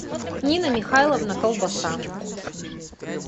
нина михайловна колбаса